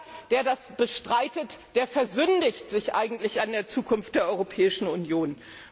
Idee. Jeder, der das bestreitet, versündigt sich eigentlich an der Zukunft der Europäischen